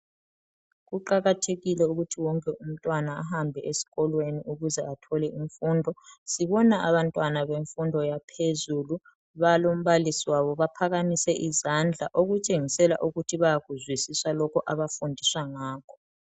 Kuqakathekile ukuti wonke umntwana ahambe esikolweni ukuze athole imfundo. Sibona abantwana bemfundo yaphezulu balombalisi wabo baphakamise izandla okutshengisela ukuthi bayakuzwisisa lokho abafundiswa ngakho.